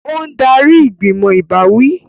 Ó ń darí ìgbìmọ̀ ìbáwí